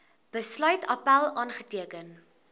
besluit appèl aanteken